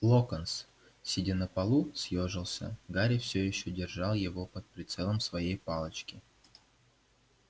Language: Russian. локонс сидя на полу съёжился гарри всё ещё держал его под прицелом своей палочки